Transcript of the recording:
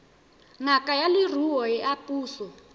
ngaka ya leruo ya puso